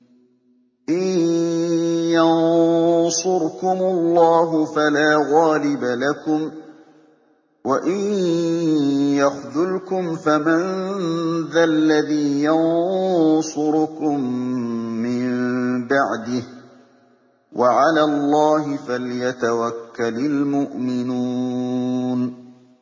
إِن يَنصُرْكُمُ اللَّهُ فَلَا غَالِبَ لَكُمْ ۖ وَإِن يَخْذُلْكُمْ فَمَن ذَا الَّذِي يَنصُرُكُم مِّن بَعْدِهِ ۗ وَعَلَى اللَّهِ فَلْيَتَوَكَّلِ الْمُؤْمِنُونَ